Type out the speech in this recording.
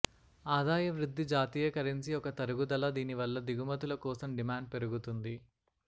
ఆదాయ వృద్ధి జాతీయ కరెన్సీ ఒక తరుగుదల దీనివల్ల దిగుమతుల కోసం డిమాండ్ పెరుగుతుంది